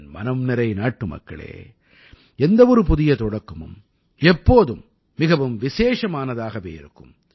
என் மனம்நிறை நாட்டுமக்களே எந்த ஒரு புதிய தொடக்கமும் எப்போதும் மிகவும் விசேஷமானதாகவே இருக்கும்